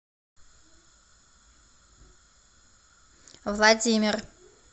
владимир